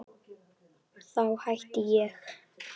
Þá hætti ég!